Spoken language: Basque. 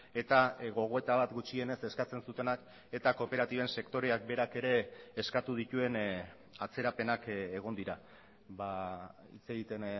eta gogoeta bat gutxienez eskatzen zutenak eta kooperatiben sektoreak berak ere eskatu dituen atzerapenak egon dira hitz egiten